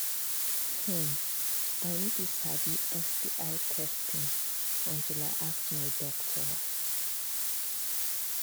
hmmm i i no too sabi sti testing until i ask my doctor